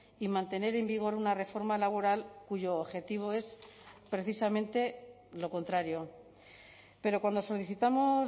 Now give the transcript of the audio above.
y mantener en vigor una reforma laboral cuyo objetivo es precisamente lo contrario pero cuando solicitamos